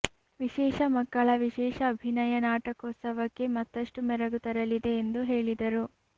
ವಿಶೇಷ ಮಕ್ಕಳ ವಿಶೇಷ ಅಭಿನಯ ನಾಟ ಕೋತ್ಸವಕ್ಕೆ ಮತ್ತಷ್ಟು ಮೆರಗು ತರ ಲಿದೆ ಎಂದು ಹೇಳಿದರು